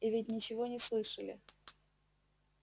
и ведь ничего не слышали